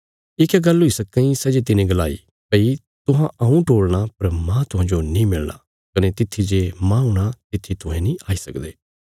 ये क्या गल्ल हुई सक्कां इ सै जे तिने गलाई भई तुहां हऊँ टोल़णा पर माह तुहांजो नीं मिलणा कने तित्थी जे माह हूणा तित्थी तुहें नीं आई सकदे